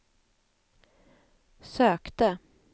sökte